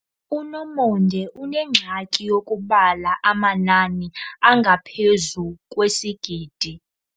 UNomonde unengxaki yokubala amanani angaphezu kwesigidi.